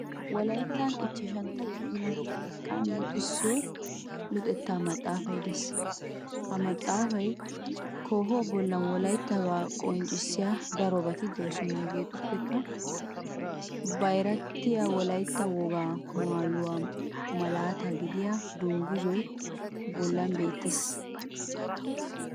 Wolayttan ichchashantta kifile xekkan luxissiyo luxetta maxaafay de'ees. Ha maxaafaa koohuwa bollan Wolayttabaa qonccissiya darobati de'oosona. Hegeetuppekka bayratettan Wolaytta wogaa maayuwa malaata gidiya dungguzzay bollan beettees.